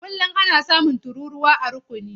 Kullum ana samun tururuwa a rukuni.